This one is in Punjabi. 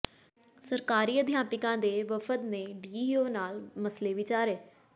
ਸਰਕਾਰੀ ਅਧਿਆਪਕਾਂ ਦੇ ਵਫਦ ਨੇ ਡੀਈਓ ਨਾਲ ਮਸਲੇ ਵਿਚਾਰੇ